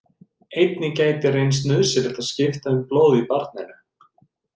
Einnig gæti reynst nauðsynlegt að skipta um blóð í barninu.